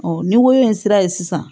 ni woro in sera sisan